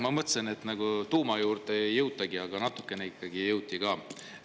Ma mõtlesin, et tuuma juurde ei jõutagi, aga natukene ikkagi jõuti ka.